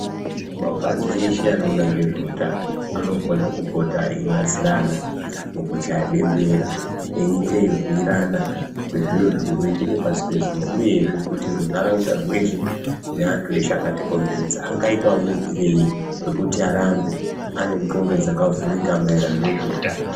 Mapazi eshe anoona ngezveutano anofana kupota eibatsirana mukuchaya bembera eyiite eyibhiyirana zviro zviri kuitika pasi pezuva uyezve kuti runharaunda rweshe neantu eshe akatikomberedza angaitawo muyitirei wekuti arambe aine nqondo dzakavhurika maererano ngezveutano .